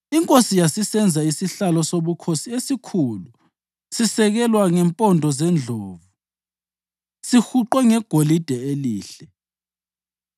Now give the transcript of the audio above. Inkosi yasisenza isihlalo sobukhosi esikhulu sisekelwa ngempondo zendlovu sihuqwe ngegolide elihle.